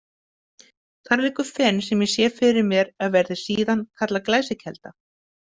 Þar liggur fen sem ég sé fyrir mér að verði síðan kallað Glæsiskelda.